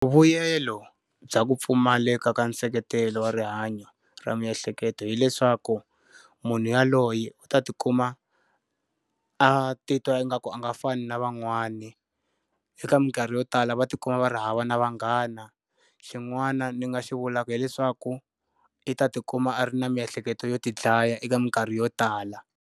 Vuyelo bya ku pfumaleka ka nseketelo wa rihanyo ra miehleketo hileswaku, munhu yaloye u ta ti kuma a titwa ingaku a nga fani na van'wana. Eka minkarhi yo tala va ti kuma va ri hava na vanghana. Xin'wana ni nga xi vulaka hileswaku, i ta ti kuma a ri na miehleketo yo ti dlaya eka minkarhi yo tala.